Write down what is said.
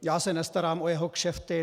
Já se nestarám o jeho kšefty.